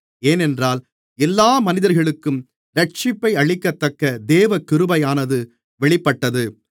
ஏனென்றால் எல்லா மனிதர்களுக்கும் இரட்சிப்பை அளிக்கத்தக்க தேவகிருபையானது வெளிப்பட்டது